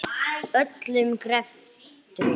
Öllum greftri